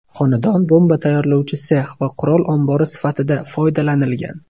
Xonadon bomba tayyorlovchi sex va qurol ombori sifatida foydalanilgan.